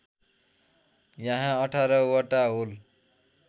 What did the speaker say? यहाँ १८ वटा होल